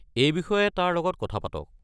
এই বিষয়ে তাৰ লগত কথা পাতক।